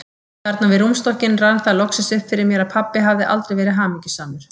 Þarna við rúmstokkinn rann það loksins upp fyrir mér að pabbi hafði aldrei verið hamingjusamur.